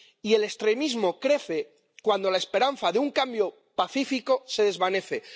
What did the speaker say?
Y el extremismo crece cuando la esperanza de un cambio pacífico se desvanece.